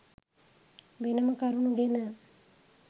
වෙනම කරුණු ගෙන